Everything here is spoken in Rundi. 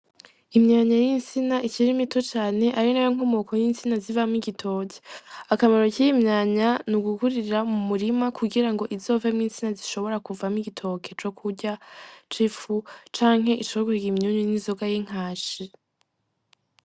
Imyanya yintsina ikiri mito cane arinayo nkomoko yintsina zivamwo igitoke akamaro kiyi myanya nugukurira mumurima kugirango izovemwo intsina zishobora kuvamwo igitoke co kurya cifu canke coguhiga imyunyu yinzoga yinkashi.